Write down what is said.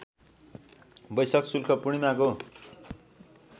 बैशाख शुक्ल पूर्णिमाको